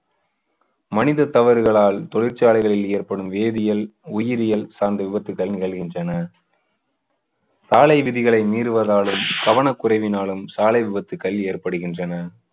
மனித தவறுகளால் தொழிற்சாலைகளில் ஏற்படும் வேதியல், உயிரியல் சார்ந்த விபத்துக்கள் நிகழ்கின்றன. சாலை விதிகளை மீறுவதாலும் கவனக்குறைவினாலும் சாலை விபத்துக்கள் ஏற்படுகின்றன.